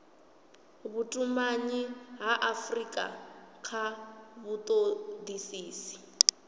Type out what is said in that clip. vhutumanyi ha afurika kha vhutodisisi